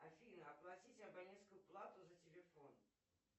афина оплатить абонентскую плату за телефон